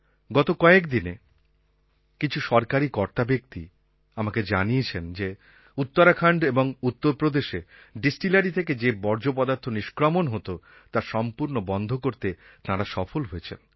গত কয়েকদিনে কিছু সরকারি কর্তাব্যক্তি আমাকে জানিয়েছে যে উত্তরাখণ্ড এবং উত্তরপ্রদেশে ডিস্টিলারি থেকে যে বর্জ্য পদার্থ নিষ্ক্রমণ হতো তা সম্পূর্ণ বন্ধ করতে তাঁরা সফল হয়েছেন